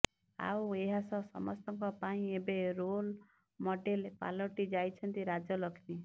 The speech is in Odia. ଆଉ ଏହାସହ ସମସ୍ତଙ୍କ ପାଇଁ ଏବେ ରୋଲ ମଡେଲ ପାଲଟି ଯାଇଛନ୍ତି ରାଜଲକ୍ଷ୍ମୀ